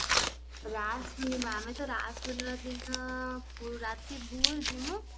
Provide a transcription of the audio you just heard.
ରାଆସ ଆମେ ରାଆସ ପୁର୍ଣିମା ଦିନ ରାତି ଭୋରୁ ଜିମୁ